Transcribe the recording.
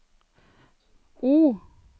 O